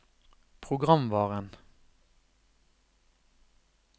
programvaren